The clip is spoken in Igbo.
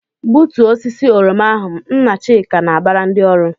"Gbutuo osisi oroma ahụ!" Nna Chika na-abara ndị ọrụ.